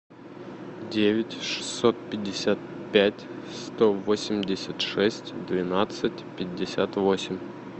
девять шестьсот пятьдесят пять сто восемьдесят шесть двенадцать пятьдесят восемь